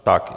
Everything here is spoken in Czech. Tak.